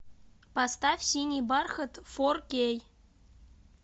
поставь синий бархат фор кей